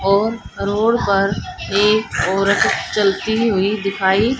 और रोड पर एक औरत चलती हुई दिखाई --